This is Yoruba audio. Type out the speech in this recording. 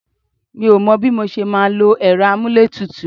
Mi ò mọ bí mo ṣe máa lò èrò amuletutu